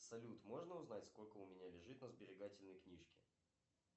салют можно узнать сколько у меня лежит на сберегательной книжке